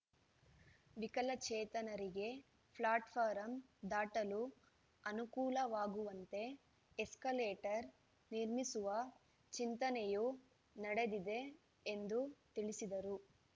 ವಿಕಲಚೇತನರಿಗೆ ಫ್ಲಾಟ್‌ಫಾರಂ ದಾಟಲು ಅನುಕೂಲವಾಗುವಂತೆ ಎಸ್ಕಲೇಟರ್‌ ನಿರ್ಮಿಸುವ ಚಿಂತನೆಯೂ ನಡೆದಿದೆ ಎಂದು ತಿಳಿಸಿದರು